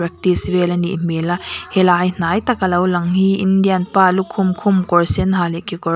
practice vel a nih hmel a helai hnai taka lo lang hi indian pa lukhum khum kawr sen ha leh kekawr --